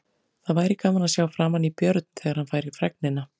Það væri gaman að sjá framan í Björn, þegar hann fær fregnina.